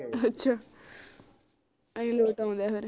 ਅੱਛਾ ਅਹੀ late ਆਉਂਦੇ ਫਿਰ